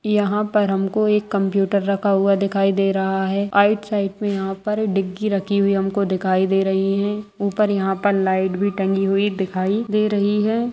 यहाँ पर हमको एक कंप्यूटर रखा हुआ दिखाई दे रहा है आइट साइड पर यहाँ पर डिक्की रखी हुई हमको दिखाई दे रही है ऊपर यहाँ पर लाइट भी टंगी हुई दिखाई दे रही है।